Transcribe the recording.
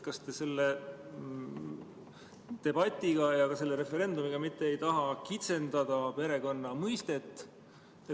Kas te selle debatiga ja selle referendumiga ei taha mitte kitsendada perekonna mõistet?